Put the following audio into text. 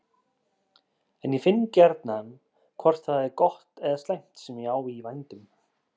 En ég finn gjarnan hvort það er gott eða slæmt sem ég á í vændum.